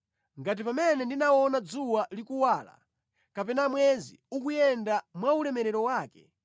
ngati pamene ndinaona dzuwa likuwala, kapena mwezi ukuyenda mwa ulemerero wake,